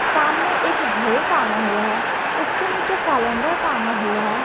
सामने एक घड़ी टांगा हुआ है उसके नीचे कैलेंडर टांगा हुआ है।